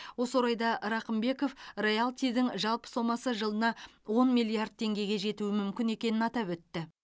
осы орайда рақымбеков роялтидің жалпы сомасы жылына он миллиард теңгеге жетуі мүмкін екенін атап өтті